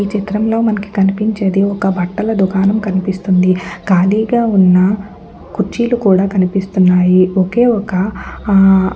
ఈ చిత్రం లో మనకు కనిపించేది ఒక బట్టల దుకాణం కనిపిస్తుంది. ఖాళీగా ఉన్న కుర్చీలు కూడా కనిపిస్తున్నాయి ఒకేఒక హా --